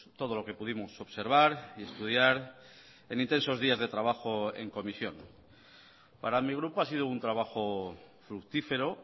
todo lo que pudimos observar y estudiar en intensos días de trabajo en comisión para mi grupo ha sido un trabajo fructífero